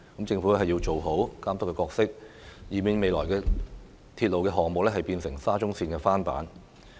政府要做好監督角色，以免未來的鐵路項目變成"沙中綫翻版"。